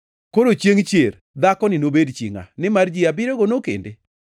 Koro chiengʼ chier dhakoni nobed chi ngʼa, nimar ji abiriyogo nokende?”